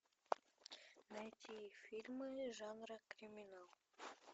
найти фильмы жанра криминал